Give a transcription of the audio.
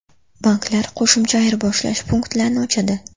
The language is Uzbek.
Banklar qo‘shimcha ayirboshlash punktlarini ochadi.